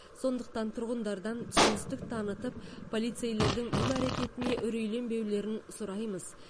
сондықтан тұрғындардан түсіністік танытып полицейлердің бұл әрекетіне үрейленбеулерін сұраймыз